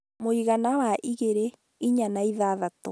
mũigana wa igĩrĩ, inya na ithathatũ